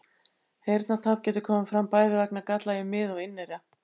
Heyrnartap getur komið fram bæði vegna galla í mið- og inneyra.